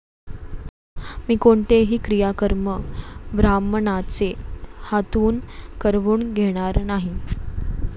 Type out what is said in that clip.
मी कोणतेही क्रियाकर्म ब्राह्मणाचे हातून करवून घेणार नाही.